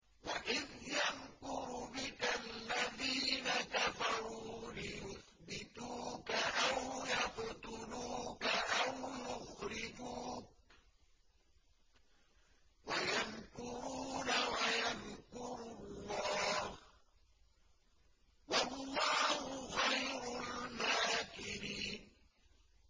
وَإِذْ يَمْكُرُ بِكَ الَّذِينَ كَفَرُوا لِيُثْبِتُوكَ أَوْ يَقْتُلُوكَ أَوْ يُخْرِجُوكَ ۚ وَيَمْكُرُونَ وَيَمْكُرُ اللَّهُ ۖ وَاللَّهُ خَيْرُ الْمَاكِرِينَ